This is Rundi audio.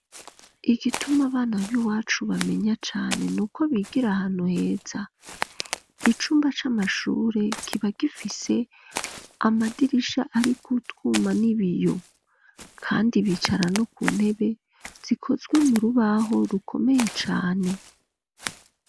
Igituma abana b'iwacu bamenya cane, n'uko bigira ahantu heza, icumba c'amashure kiba gifise amadirisha ariko utwuma n'ibiyo, kandi bicara no ku ntebe zikozwe mu rubaho rukomeye cane.